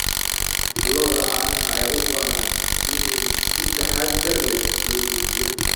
Lo'da caanaha ayaa u baahan in si taxadar leh loo daajiyo.